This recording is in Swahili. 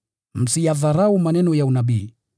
msiyadharau maneno ya unabii.